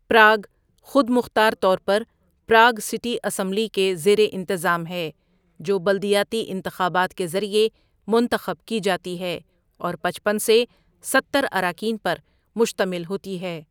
Prague خود مختار طور پر پراگ سٹی اسمبلی کے زیر انتظام ہے، جو بلدیاتی انتخابات کے ذریعے منتخب کی جاتی ہے اور پچپن سے ستر اراکین پر مشتمل ہوتی ہے۔